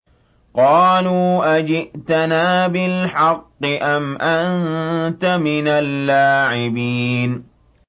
قَالُوا أَجِئْتَنَا بِالْحَقِّ أَمْ أَنتَ مِنَ اللَّاعِبِينَ